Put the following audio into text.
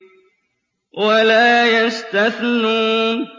وَلَا يَسْتَثْنُونَ